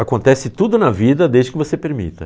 Acontece tudo na vida desde que você permita.